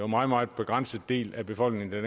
meget meget begrænset del af befolkningen